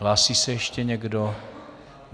Hlásí se ještě někdo?